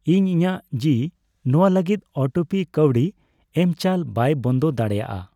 ᱤᱧ ᱤᱧᱟᱜ ᱡᱤᱤ ᱱᱚᱣᱟ ᱞᱟᱹᱜᱤᱫ ᱚᱴᱳᱯᱮ ᱠᱟᱹᱣᱰᱤ ᱮᱢᱪᱟᱞ ᱵᱟᱭ ᱵᱚᱱᱫᱚ ᱫᱟᱲᱮᱭᱟᱜᱼᱟ ᱾